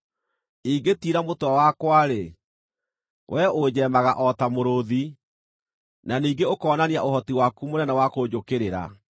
Ingĩtiira mũtwe wakwa-rĩ, wee ũnjeemaga o ta mũrũũthi, na ningĩ ũkonania ũhoti waku mũnene wa kũnjũkĩrĩra.